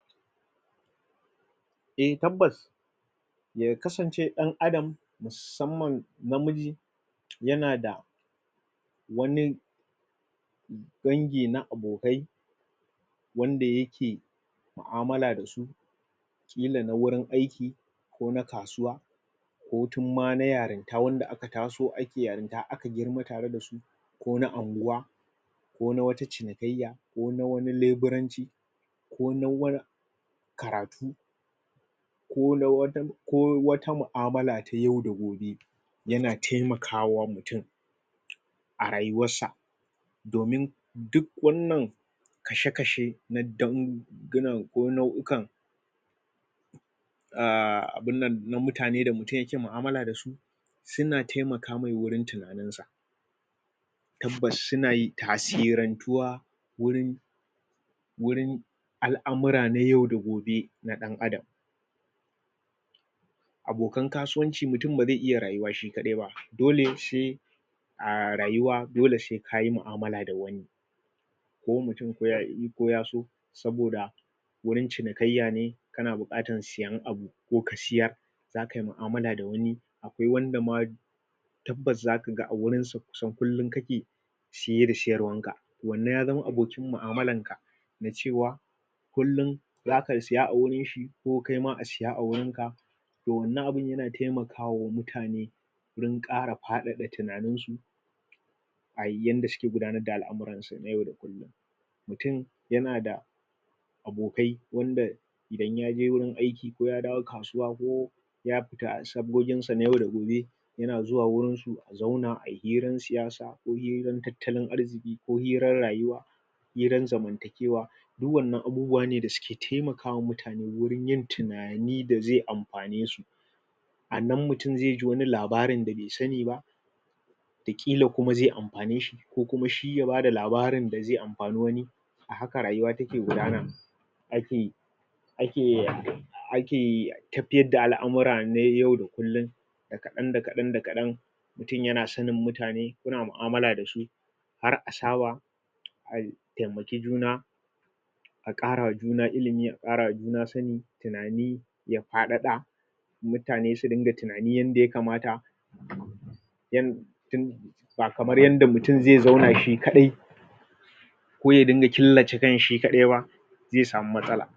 a tabbas ya kasance ɗan adam musamman namiji yana da wani dangi na abokai wanda yake mu'amala da su ƙila na wurin aiki ko na kasuwa ko tun ma na yarinta wanda aka taso ake yarinta aka girma tare dasu ko na unguwa ko na wata cinikayya ko na wani lebutanci ko na waya karatu ko na wajen ko wata mu'amala ta yau da gobe yana taimakawa mutum a rayuwar sa domin duk wannan kashe kashe na dangu gina ko nauyukan a na abin nan na mutane da mutum yake mu'amala dasu suna taimaka mai wurin tunani tabbas suna yin tasirantuwa wurin wurin al'amura na yau da gobe na ɗan adam abokan kasuwanci mutum bazai iya rayuwa shi kaɗai ba dole sai a rayuwa dole sai kayi mu'amala da wani ko mutum ko yaƙi ko ya so saboda wurin cinikaiya ne kana buƙatan sayen abu ko ka seyar zakai mu'amala da wani ko wanda ma tabbas zakaga a wurin su kusan kullum kake saye da sayarwar ka wannan ya zamo abokin mu'amalar ka na cewa kullum zaka siya a gurin shi ko kaima a siya a gurin ka toh wannan abun yana taimakawa mutane wurin ƙara faɗaɗa tunanin su ai yanda suke gudanar da al'amuransu na yau da gobe mutum yana da abokai wanda idan yaje wurin aiki ya dawo kasuwa ko ya fita sabgogin sa na yau da gobe yana zuwa wurin su su zauna ayi hirar siyasa ko hirar tattalin arziki ko hirar rayuwa hirar zamantakewa duk wannan abubuwane da suke taimakwa mutane wajen yin tinani da zai amfane su anan mutum zai ji wani labari da bai sani ba kila kuma zai amfane shi ko kuma shi ya bada labarin da zai amfani wani ahaka rayuwa take gudana mafi ake yarda ake yi tafiyar da al'amura na yau da kullum da kaɗan da kaɗan da kaɗan mutum yana sanin mutane kuna mu'amala dasu har asaba a taimaki juna a ƙara ma juna ilimi ƙarawa juna sani, tunani ya faɗaɗa mutane su dinga tunani yanda ya kamata ba kamar yanda mutum zai zauna shi kaɗai ko ya ringa killace kanshi shi kaɗai ba zai samu matsala